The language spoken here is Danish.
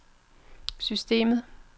systemet